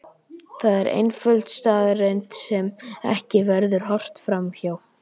Það er einföld staðreynd sem ekki verður horft fram hjá.